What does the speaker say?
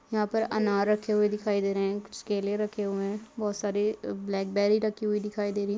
यहाँ पर अनार रखे हुए दिखाई दे रहे है कुछ केले रखे हुए है बहुत सारी ब्लैक बैरी रखी हुई दिखाई दे रही है।